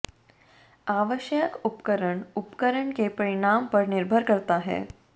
आवश्यक उपकरण उपकरण के परिणाम पर निर्भर करता है